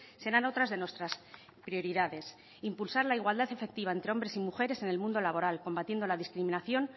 serán otras de nuestras prioridades impulsar la igualdad efectiva entre hombres y mujeres en el mundo laboral combatiendo la discriminación